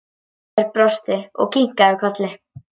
Örn brosti og kinkaði kolli.